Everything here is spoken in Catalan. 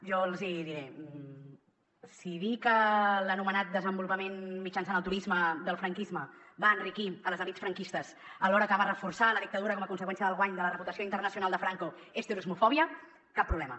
jo els hi diré si dir que l’anomenat desenvolupament mitjançant el turisme del franquisme va enriquir les elits franquistes alhora que va reforçar la dictadura com a conseqüència del guany de la reputació internacional de franco és turismofòbia cap problema